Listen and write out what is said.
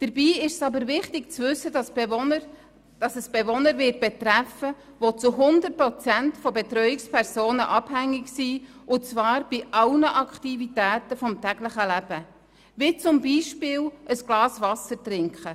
Dabei ist es aber wichtig zu wissen, dass es Bewohner treffen wird, die zu 100 Prozent von Betreuungspersonen abhängig sind, und zwar bei allen Aktivitäten des täglichen Lebens, wie zum Beispiel bei der Tätigkeit, ein Glas Wasser zu trinken: